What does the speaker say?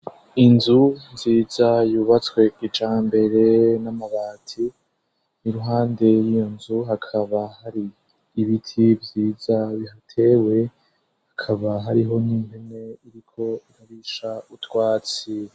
Inzu nziza yubatswe kijambere n'amabati, iruhande yiyo nzu hakaba hari ibiti vyiza bihateye hakaba hariho n'impene iriko ikarisha utwatsi.